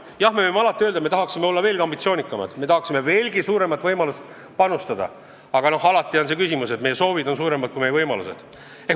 Jah, me võime alati öelda, et me tahaksime olla veelgi ambitsioonikamad, me tahaksime veelgi suuremaid võimalusi panustada, aga alati on see probleem, et meie soovid on suuremad kui meie võimalused.